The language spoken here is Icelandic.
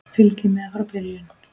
Fylgist með frá byrjun!